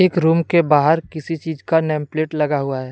एक रूम के बाहर किसी चीज का नेम प्लेट लगा हुआ है।